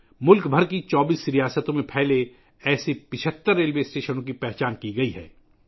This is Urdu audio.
ملک بھر کی 24 ریاستوں میں پھیلے ہوئے ایسے 75 ریلوے اسٹیشنوں کی نشاندہی کی گئی ہے